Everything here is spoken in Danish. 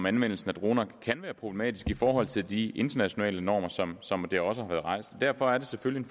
anvendelsen af droner kan være problematisk i forhold til de internationale normer sådan som det også har været rejst derfor er det selvfølgelig